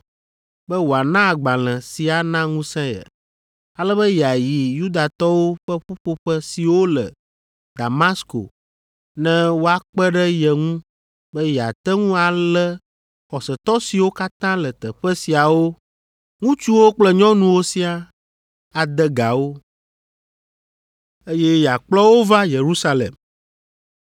be wòana agbalẽ si ana ŋusẽ ye, ale be yeayi Yudatɔwo ƒe ƒuƒoƒe siwo le Damasko ne woakpe ɖe ye ŋu be yeate ŋu alé xɔsetɔ siwo katã le teƒe siawo, ŋutsuwo kple nyɔnuwo siaa, ade ga wo, eye yeakplɔ wo va Yerusalem.